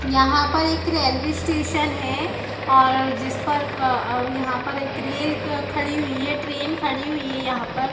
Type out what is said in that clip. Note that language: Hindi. यहाँ पर एक रेलवे स्टेशन है और जिस पर आ आ यहाँ पर एक रेल खड़ी हुई है ट्रॆन खड़ी हुई है यहाँ पर --